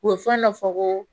U ye fɛn dɔ fɔ ko